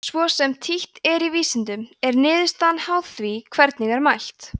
svo sem títt er í vísindum er niðurstaðan háð því hvernig er mælt